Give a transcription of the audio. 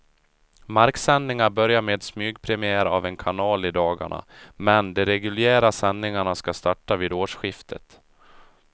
Marksändningar börjar med smygpremiär av en kanal i dagarna, men de reguljära sändningarna ska starta vid årsskiftet.